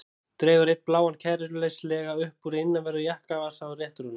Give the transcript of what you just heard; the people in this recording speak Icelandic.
Dregur einn bláan kæruleysislega upp úr innanverðum jakkavasa og réttir honum.